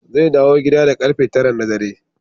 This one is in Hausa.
Zai dawo gida da karfe tara na dare.